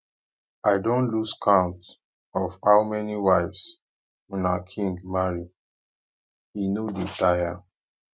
i don lose count of how many wives una king marry e no dey tire